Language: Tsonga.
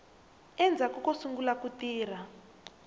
endzhaku ko sungula ku tirha